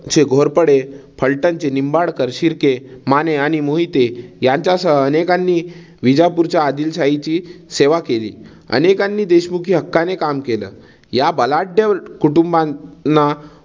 चे घोरपडे, फलटणचे निंबाळकर, शिर्के, माने आणि मोहिते यांच्यासह अनेकांनी विजापूरच्या आदिलशाहीची सेवा केली. अनेकांनी देशमुखी हक्काने काम केल. या बलाढ्य कुटुंबाना